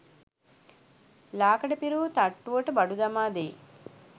ලාකඩ පිරවූ තට්ටුවට බඩු දමා දෙයි.